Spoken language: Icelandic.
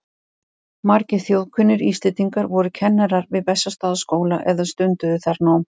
Margir þjóðkunnir Íslendingar voru kennarar við Bessastaðaskóla eða stunduðu þar nám.